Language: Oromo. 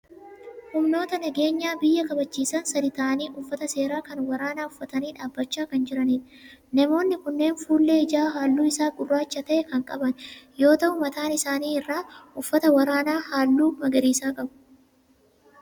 Humnoota nageenya biyyaa kabachiisan sadii ta'aanii uffata seeraa kan waraanaa uffatanii dhaabbachaa kan jiranidha. Namoonni kunneen fuullee ijaa halluu isaa gurraacha ta'e kan qaban yoo ta'u mataa isaanii irraa uffata waraanaa halluu magariisaa qabu.